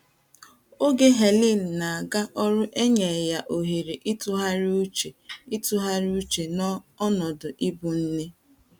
Oge Helen na - aga ọrụ enye ya ohere ịtụgharị uche ịtụgharị uche n’ọnọdụ ịbụ nne.